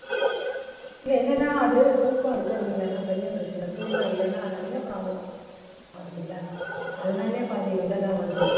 இல்ல என்னன்னா அது தூக்கம் இருக்குறது இல்லன்னா பெரிய பிரச்சனை தூக்கம் இல்லன்னா நிறைய problems வருதுல்ல அதனாலயே பாதி இதெல்லாம் வருது